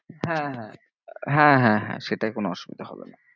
হ্যাঁ হ্যাঁ, হ্যাঁ হ্যাঁ হ্যাঁ সেটায় কোনো অসুবিধা হবে না।